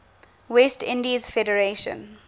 west indies federation